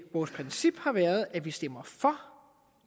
vores princip har været at vi stemmer for